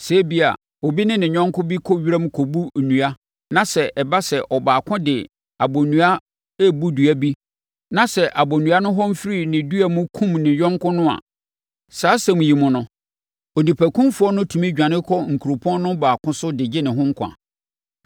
Sɛ ebia, obi ne ne yɔnko bi kɔ wiram rekɔbu nnua na sɛ ɛba sɛ ɔbaako de abonnua rebu dua bi na sɛ abonnua no hɔn firi ne dua mu kumm ne yɔnko no a, saa asɛm yi mu no, onipakumfoɔ no tumi dwane kɔ nkuropɔn no baako so de gye ne ho nkwa.